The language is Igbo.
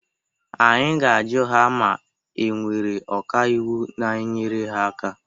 Anyị ga-ajụ ha ma e nwere ọka iwu na-enyere ha aka.